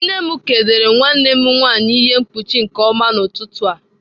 Nne m kegidere nwanne m nwanyị ihe mkpuchi nke ọma n'ụtụtụ a.